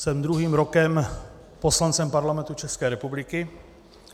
Jsem druhým rokem poslancem Parlamentu České republiky.